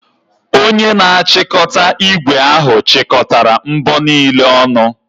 Onye na-achọpụta ígwè ahụ chịkọtara mbọ niile ọnụ.